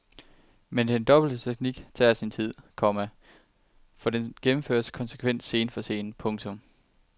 Men den dobbelte teknik tager sin tid, komma for den gennemføres konsekvent scene for scene. punktum